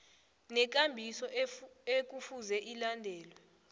nekambiso ekufuze ilandelwe